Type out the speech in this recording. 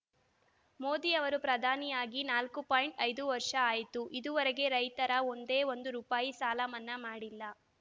ಮೋದಿ ಅವರು ಪ್ರಧಾನಿಯಾಗಿ ನಾಲ್ಕು ಪಾಯಿಂಟ್ ಐದು ವರ್ಷ ಆಯ್ತು ಇದುವರೆಗೆ ರೈತರ ಒಂದೇ ಒಂದು ರೂಪಾಯಿ ಸಾಲ ಮನ್ನಾ ಮಾಡಿಲ್ಲ